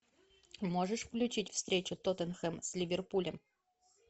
можешь включить встречу тоттенхэм с ливерпулем